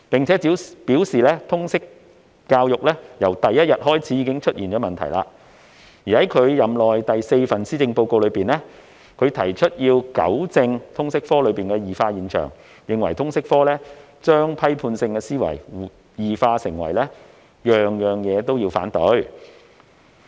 她又表示通識教育由第一天起已出現問題，而在其任內第四份施政報告中，她提出要糾正通識科的異化現象，並認為通識科將批判性思維異化為事事反對。